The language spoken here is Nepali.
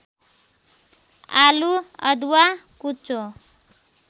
आलु अदुवा कुचो